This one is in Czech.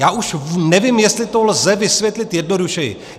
Já už nevím, jestli to lze vysvětlit jednodušeji.